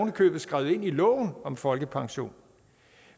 i købet skrevet ind i loven om folkepension